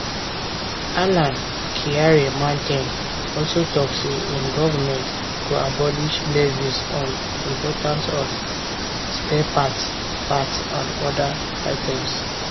alan kyerema ten also tok say im goment go abolish levies on import of spare parts parts and oda items